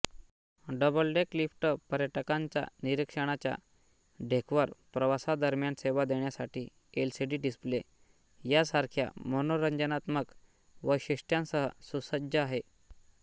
double deck lift पर्यटकांच्या निरीक्षणाच्या डेकवर प्रवासादरम्यान सेवा देण्यासाठी एलसीडी डिस्प्ले यासारख्या मनोरंजनात्मक वैशिष्ट्यांसह सुसज्ज आहेत